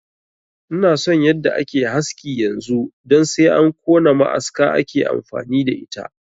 Ina son yadda ake haski yanzu don sai an kona ma'aska ake amfani da ita